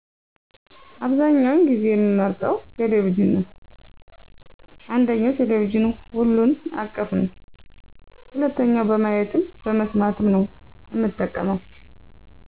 አብዛኛውን ጊዜ የምመርጠው ቴሌቪዥን ነዉ። አንደኛ ቴሌቪዥን ሁሉን አቀፍ ነዉ። ሁለተኛ በማየትም በመስማትም ነው እምጠቀመው።